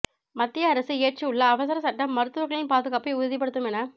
மத்திய அரசு இயற்றியுள்ள அவசரச் சட்டம் மருத்துவர்களின் பாதுகாப்பை உறுதிப்படுத்தும் என